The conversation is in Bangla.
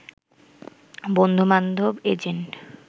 বন্ধু-বান্ধব, এজেন্ট